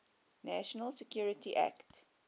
national security act